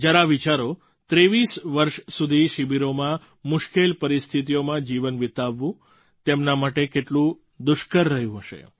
જરા વિચારો 23 વર્ષ સુધી શિબિરોમાં મુશ્કેલ પરિસ્થિતિઓમાં જીવન વિતાવવું તેમના માટે કેટલું દુષ્કર રહ્યું હશે